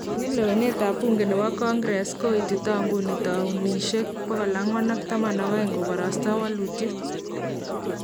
En lewenetab buunke nebo Congress , koitita nguni towunishek 412 kokabarasta walutiet